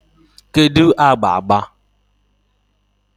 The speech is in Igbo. kedu agba agba?